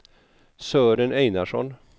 Sören Einarsson